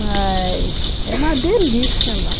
Mas é uma delícia lá.